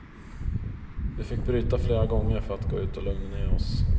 Vi fick bryta flera gånger för att gå ut och lugna ned oss.